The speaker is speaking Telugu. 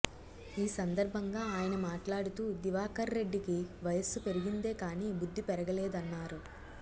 ఈసందర్భంగా ఆయన మాట్లాడుతూ దివాకర్రెడ్డికి వయస్సు పెరిగిందే కాని బుద్ధి పెరగలేదన్నారు